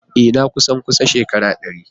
Ee! Na kusan kusan shekaru dari.